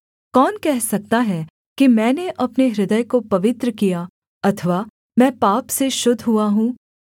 कौन कह सकता है कि मैंने अपने हृदय को पवित्र किया अथवा मैं पाप से शुद्ध हुआ हूँ